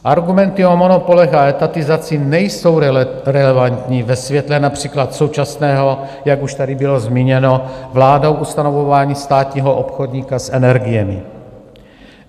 Argumenty o monopolech a etatizaci nejsou relevantní ve světle například současného, jak už tady bylo zmíněno vládou, ustanovování státního obchodníka s energiemi.